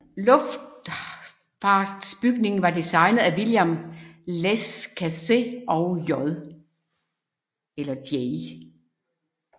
Luftfartsbygningen var designet af William Lescaze og J